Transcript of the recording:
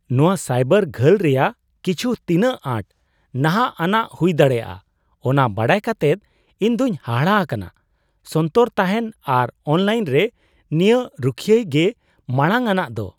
ᱱᱚᱣᱟ ᱥᱟᱭᱵᱟᱨ ᱜᱷᱟᱹᱞ ᱨᱮᱭᱟᱜ ᱠᱤᱪᱷ ᱛᱤᱱᱟᱹᱜ ᱟᱸᱴ ᱱᱟᱦᱟᱜ ᱟᱱᱟᱜ ᱦᱩᱭ ᱫᱟᱲᱮᱭᱟᱜᱼᱟ ᱚᱱᱟ ᱵᱟᱰᱟᱭ ᱠᱟᱛᱮᱫ ᱤᱧ ᱫᱚᱧ ᱦᱟᱦᱟᱲᱟ ᱟᱠᱟᱱᱟ ᱾ ᱥᱚᱱᱛᱚᱨ ᱛᱟᱦᱮᱱ ᱟᱨ ᱚᱱᱞᱟᱭᱤᱱ ᱨᱮ ᱱᱤᱡᱟᱹ ᱨᱩᱠᱷᱭᱟᱹᱭ ᱜᱮ ᱢᱟᱲᱟᱝ ᱟᱱᱟᱜ ᱫᱚ ᱾